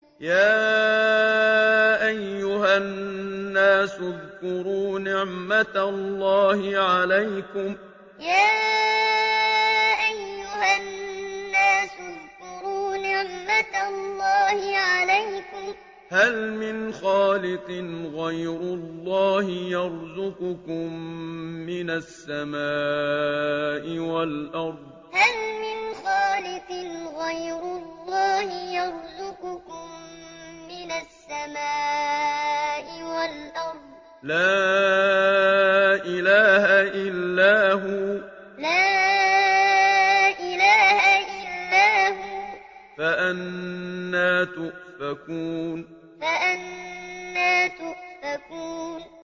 يَا أَيُّهَا النَّاسُ اذْكُرُوا نِعْمَتَ اللَّهِ عَلَيْكُمْ ۚ هَلْ مِنْ خَالِقٍ غَيْرُ اللَّهِ يَرْزُقُكُم مِّنَ السَّمَاءِ وَالْأَرْضِ ۚ لَا إِلَٰهَ إِلَّا هُوَ ۖ فَأَنَّىٰ تُؤْفَكُونَ يَا أَيُّهَا النَّاسُ اذْكُرُوا نِعْمَتَ اللَّهِ عَلَيْكُمْ ۚ هَلْ مِنْ خَالِقٍ غَيْرُ اللَّهِ يَرْزُقُكُم مِّنَ السَّمَاءِ وَالْأَرْضِ ۚ لَا إِلَٰهَ إِلَّا هُوَ ۖ فَأَنَّىٰ تُؤْفَكُونَ